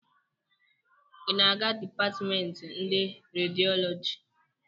Ị na-aga dipatịmemtị ndị rediọlọji?